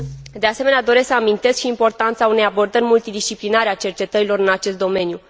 De asemenea, doresc să amintesc și importanța unei abordări multidisciplinare a cercetărilor în acest domeniu.